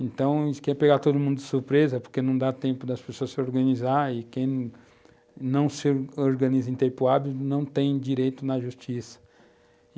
Então, isso quer pegar todo mundo de surpresa, porque não dá tempo das pessoas se organizarem, e quem não se organiza em tempo hábito não tem direito na justiça.